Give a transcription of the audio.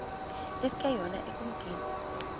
iske yona ekumkeni